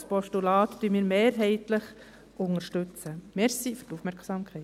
und das Postulat unterstützen wir mehrheitlich.